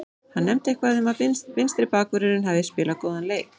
Hann nefndi eitthvað um að vinstri bakvörðurinn hafi spilað góðan leik.